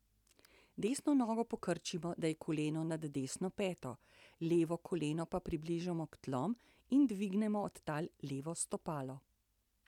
Desno nogo pokrčimo, da je koleno nad desno peto, levo koleno pa približamo k tlom in dvignemo od tal levo stopalo.